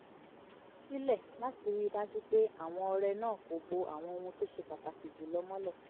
sílẹ̀ láti rí i dájú pé àwọn ọrẹ náà kò bo àwọn ohun tó ṣe pàtàkì jù lọ mọ́lẹ̀